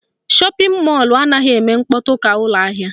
Shọpịn mọlụ anaghị eme mkpọtụ ka ụlọ ahịa